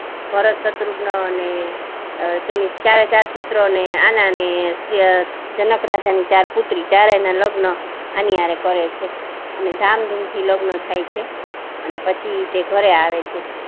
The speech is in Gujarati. ભરતઅ, શત્રુઘ્ન ને તેની ચારેચાર પુત્રો આના ને જનક રાજા ની ચાર પુત્રી ચારે ના લગ્ન એની આરે કરે છે અને ધામધૂમ લગ્ન થાય છે અને પછી તે ઘરે આવે છે